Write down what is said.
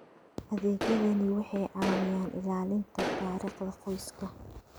Adeegyadani waxay caawiyaan ilaalinta taariikhda qoyska.